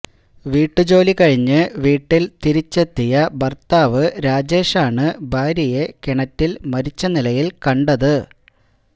ജോലി കഴിഞ്ഞ് വീട്ടിൽ തിരിച്ചെത്തിയ ഭർത്താവ് രാജേഷാണ് ഭാര്യയെ കിണറ്റിൽ മരിച്ച നിലയിൽ കണ്ടത്